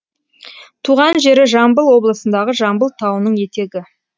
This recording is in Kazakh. туған жері жамбыл облысындағы жамбыл тауының етегі